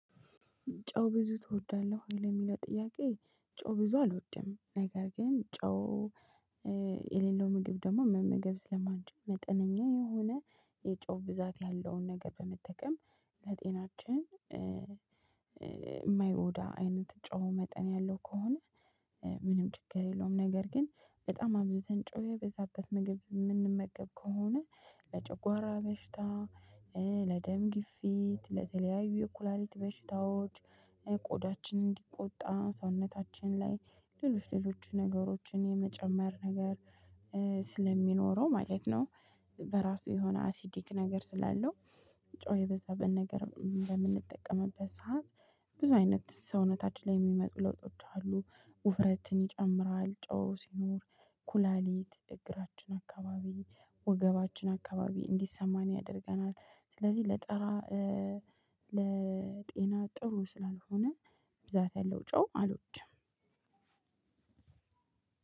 ጨው ብዙ ትወዳለህ ወይ ለሚለው ጥያቄ? ጨው ብዙ አልወድም ነገር ግን ጨው የሌለው ምግብ ደግሞ መመገብ ስለማንችል መጠነኛ የሆነ የጨው ብዛት ያለውን ነገር በመጠቀም ለጤናችን የማይጎዳ አይነት ጨው መጠን ያለው ከሆነ። ምንም ችግር የለውም ነገር ግን በጣም አብዝተን ጮኸ የበዛበት ምግብ የምንመገብ ከሆነ ለጨጓራ በሽታ ለደም ግፊት ለተለያዩ የኩላሊት በሽታዎች ቆዳችን እንዲቆጣ ሰውነታችን ላይ ሌሎች ሌሎች ነገሮችን የመጨመር ነገር ስለሚኖረው ማለት ነው። በራሱ የሆነ አሲዲክ ነገር ስላለው ጮህ የበዛበት ነገር በምንጠቀምበት ሰዓት ብዙ አይነት ሰውነታችን ላይ የሚመጡ ለውጦች አሉ። ውፍረትን ይጨምራል ጨው ሲኖር ኩላሊት እግራችን አከባቢ ወገባችን አካባቢ እንዲሰማን ያደርገናል። ስለዚህ ለጤና ጥሩ ስላልሆነ ብዛት ያለው ጨው አልወድም።